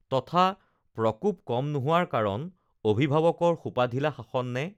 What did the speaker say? তথা প্ৰকোপ কম নোহোৱাৰ কাৰণ অভিভাৱকৰ সোপাঢিলা শাসন নে